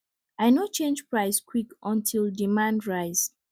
i no change price quick until demand rise